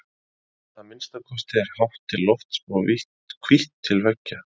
Að minnsta kosti er hátt til lofts og hvítt til veggja.